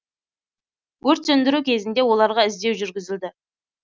өрт сөндіру кезінде оларға іздеу жүргізілді